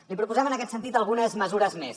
li proposem en aquest sentit algunes mesures més